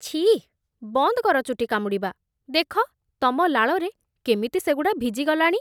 ଛି! ବନ୍ଦକର ଚୁଟି କାମୁଡ଼ିବା । ଦେଖ ତମ ଲାଳରେ କେମିତି ସେଗୁଡ଼ା ଭିଜିଗଲାଣି ।